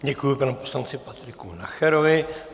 Děkuji panu poslanci Patriku Nacherovi.